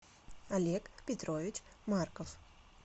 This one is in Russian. олег петрович марков